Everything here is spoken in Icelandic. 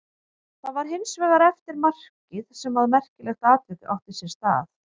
Það var hins vegar eftir markið sem að merkilegt atvik átti sér stað.